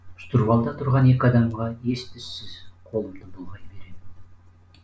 штурвалда тұрған екі адамға ес түссіз қолымды бұлғай беремін